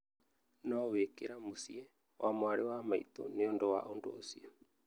No wĩkĩra mũciĩ wa mwarĩ wa maitũ nĩ ũndũ wa ũndũ ũcio.